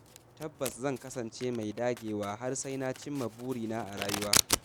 Tabbas zan kasance mai dagewa har sai na cimma burina a rayuwa.